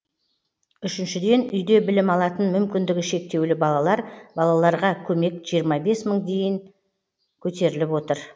үшіншіден үйде білім алатын мүмкіндігі шектеулі балалар балаларға көмек жиырма бес мың дейін көтеріліп отыр